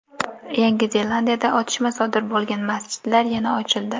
Yangi Zelandiyada otishma sodir bo‘lgan masjidlar yana ochildi.